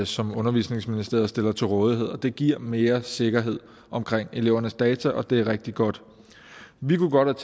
som undervisningsministeriet stiller til rådighed og det giver mere sikkerhed om elevernes data og det er rigtig godt vi kunne godt